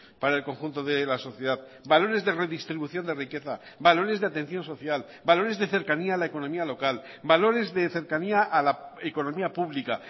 para el conjunto de la sociedad valores de redistribución de riqueza valores de atención social valores de cercanía a la economía local valores de cercanía a la economía pública